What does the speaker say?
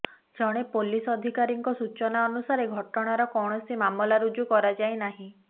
ଜଣେ ପୋଲିସ ଅଧିକାରୀଙ୍କ ସୂଚନା ଅନୁସାରେ ଘଟଣାର କୌଣସି ମାମଲା ରୁଜୁ କରାଯାଇ ନାହିଁ